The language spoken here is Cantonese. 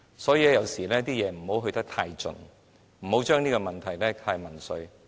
所以，凡事不要做得太盡，不要將問題民粹化。